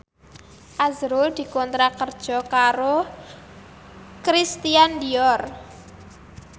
azrul dikontrak kerja karo Christian Dior